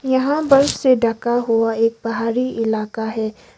यहां बर्फ से ढका हुआ एक पहारी इलाका है।